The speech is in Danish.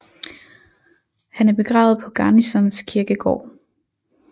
Han er begravet på Garnisons Kirkegård